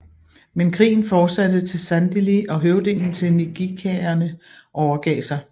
Men krigen fortsatte til Sandili og høvdingen til ngqikaerne overgav sig